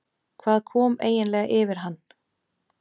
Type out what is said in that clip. Hvað kom eiginlega yfir hann?